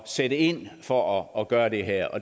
sætte ind for at gøre det her